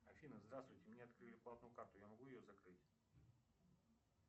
афина здравствуйте мне открыли платную карту я могу ее закрыть